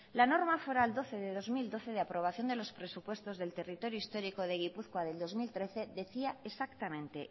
la norma foral doce barra dos mil doce de aprobación de los presupuestos del territorio histórico de gipuzkoa del dos mil trece decía exactamente